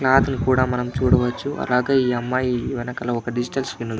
క్లోత్లు కూడా చూడవచ్చి అలాగే ఈ అమ్మాయి వెనకాల ఒక డిజిటల్ స్క్రీన్ --